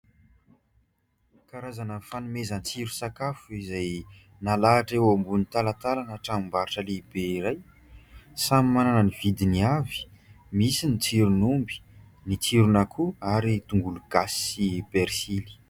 Karazana fanomezan-tsiro sakafo izay nalahatra eo ambony talantalana tranom-barotra lehibe iray samy manana ny vidiny avy, misy ny tsiron'omby, ny tsiron'akoho ary tongolo gasy sy persily.